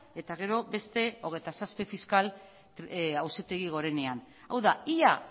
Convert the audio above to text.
eta gero beste hogeita zazpi fiskal auzitegi gorenean hau da ia